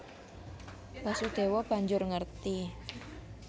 Basudèwa banjur ngerti